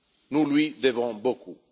Nous lui devons beaucoup.